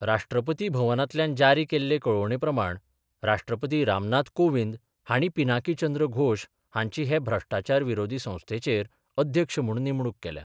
राष्ट्रपती भवनातल्यान जारी केल्ले कळोवणे प्रमाण राष्ट्रपती रामनाथ कोविंद हाणी पिनाकी चंद्र घोष हांची हे भ्रष्टाचार विरोधी संस्थेचेर अध्यक्ष म्हूण नेमणूक केल्या.